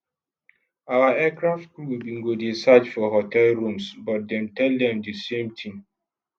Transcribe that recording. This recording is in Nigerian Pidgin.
our aircraft crew bin go dey search for hotel rooms but dem tell dem di same tin